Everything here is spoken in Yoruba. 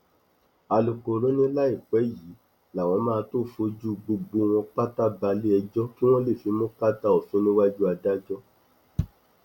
alūkkóró ni láìpẹ yìí làwọn máa tóó fojú gbogbo wọn pátá balẹẹjọ kí wọn lè fimú kàtà òfin níwájú adájọ